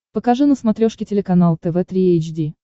покажи на смотрешке телеканал тв три эйч ди